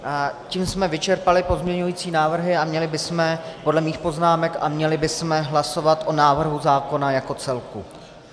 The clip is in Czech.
Tím jsme vyčerpali pozměňující návrhy a měli bychom podle mých poznámek hlasovat o návrhu zákona jako celku.